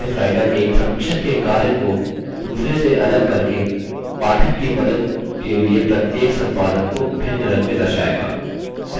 LibreOffice writer एक समीक्षक के कार्य को दूसरे से अलग करके पाठक की मदद के लिए प्रत्येक संपादन को भिन्न रंग में दर्शाएगा